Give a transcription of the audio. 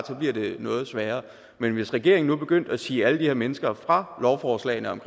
så bliver det noget sværere men hvis regeringen nu begyndte at si alle de her mennesker fra lovforslagene om